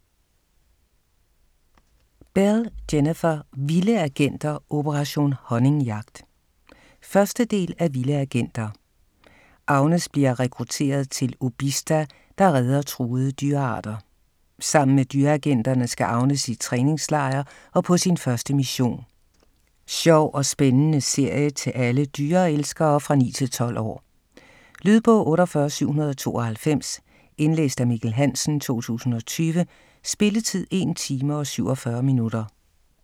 Bell, Jennifer: Vilde agenter - operation honningjagt 1. del af Vilde agenter. Agnes bliver rekrutteret til OBISTA, der redder truede dyrearter. Sammen med dyreagenterne skal Agnes i træningslejr og på sin første mission. Sjov og spændende serie til alle dyrelskere fra 9-12 år. Lydbog 48792 Indlæst af Mikkel Hansen, 2020. Spilletid: 1 time, 47 minutter.